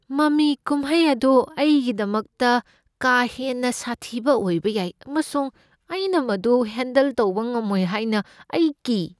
ꯃꯃꯤ ꯀꯨꯝꯍꯩ ꯑꯗꯨ ꯑꯩꯒꯤꯗꯃꯛꯇ ꯀꯥ ꯍꯦꯟꯅ ꯁꯥꯊꯤꯕ ꯑꯣꯏꯕ ꯌꯥꯏ ꯑꯃꯁꯨꯡ ꯑꯩꯅ ꯃꯗꯨ ꯍꯦꯟꯗꯜ ꯇꯧꯕ ꯉꯝꯂꯣꯏ ꯍꯥꯏꯅ ꯑꯩ ꯀꯤ꯫